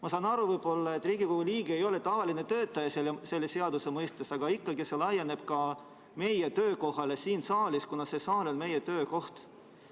Ma saan aru, et Riigikogu liige ei ole tavaline töötaja selle seaduse mõistes, aga ikkagi see laieneb ka meie töökohale siin saalis, kuna see saal on meie töökoht.